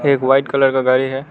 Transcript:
एक white colour का गाड़ी है।